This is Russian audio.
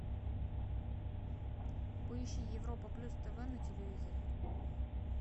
поищи европа плюс тв на телевизоре